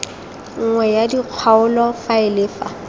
nngwe ya kgaolo faele fa